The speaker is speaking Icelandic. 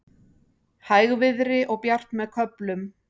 Hægviðri og bjart með köflum